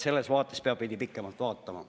Selles mõttes peab veidi pikemalt ette vaatama.